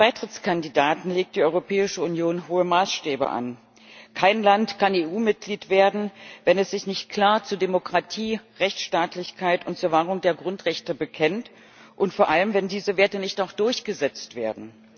Herr Präsident! An jeden Beitrittskandidaten legt die Europäische Union hohe Maßstäbe an, kein Land kann EU Mitglied werden, wenn es sich nicht klar zu Demokratie, Rechtsstaatlichkeit und zur Wahrung der Grundrechte bekennt, und vor allem, wenn diese Werte nicht auch durchgesetzt werden.